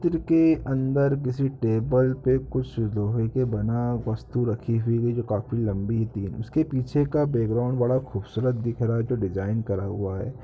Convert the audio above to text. चित्र के अंदर किसी टेबल पे कुछ लोहे के बना वस्तु रखी हुई जो काफी लंबी है। उसके पीछे का बेगराउंड बड़ा खूबसूरत दिख रहा है जो डिज़ाइन करा हुआ है।